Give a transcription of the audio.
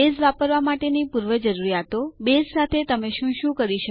base વાપરવા માટેની પૂર્વજરૂરીયાતો છે બેઝ સાથે તમે શું સાથે શું કરી શકો